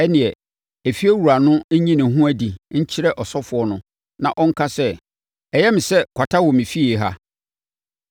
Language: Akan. ɛnneɛ, efiewura no nyi ne ho adi nkyerɛ ɔsɔfoɔ no na ɔnka sɛ, ‘Ɛyɛ me sɛ kwata wɔ me fie ha!’